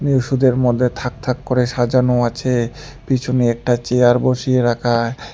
ওষুধের মধ্যে থাক থাক করে সাজানো আছে পিছনে একটা চেয়ার বসিয়ে রাখা।